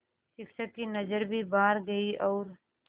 शिक्षक की नज़र भी बाहर गई और